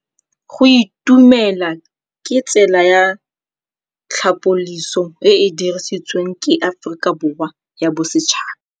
Go itumela ke tsela ya tlhapolisô e e dirisitsweng ke Aforika Borwa ya Bosetšhaba.